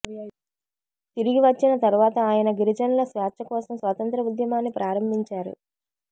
తిరిగి వచ్చిన తర్వాత ఆయన గిరిజనుల స్వేచ్ఛ కోసం స్వా తంత్య్ర ఉద్యమాన్ని ప్రారంభించారు